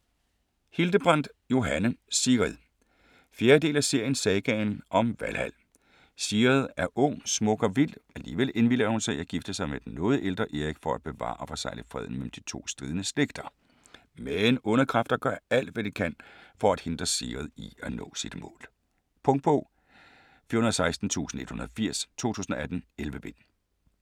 Hildebrandt, Johanne: Sigrid 4. del af serien Sagaen om Valhal. Sigrid er ung, smuk og vild. Alligevel indvilliger hun i at gifte sig med den noget ældre Erik for at bevare og forsegle freden mellem de to stridende slægter. Men onde kræfter gør alt, hvad de kan for at hindre Sigrid i at nå sit mål. Punktbog 416180 2018. 11 bind.